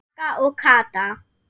Magga og Kata.